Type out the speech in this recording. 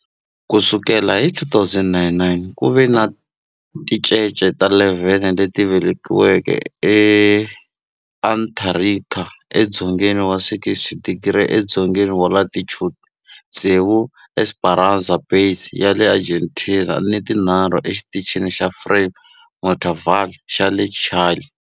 Ku sukela hi 2009, ku ve ni tincece ta 11 leti velekiweke eAntarctica, edzongeni wa 60 wa tidigri edzongeni wa latitude, tsevu eEsperanza Base ya le Argentina ni tinharhu eXitichini xa Frei Montalva xa le Chile.